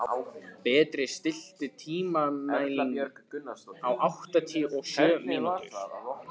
Berti, stilltu tímamælinn á áttatíu og sjö mínútur.